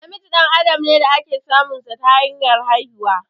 Namiji dan adam ne da ake samun sa ta hanyar haihuwa